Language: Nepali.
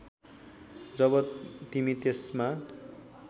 जब तिमी त्यसमा